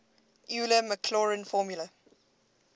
euler maclaurin formula